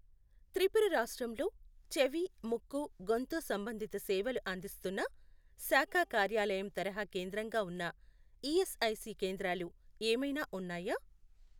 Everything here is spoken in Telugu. త్రిపుర రాష్ట్రంలోచెవి ముక్కు గొంతు సంబంధిత సేవలు అందిస్తున్న శాఖా కార్యాలయం తరహా కేంద్రంగా ఉన్న ఈఎస్ఐసి కేంద్రాలు ఏమైనా ఉన్నాయా?